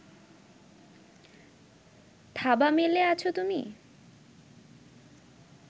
থাবা মেলে আছো তুমি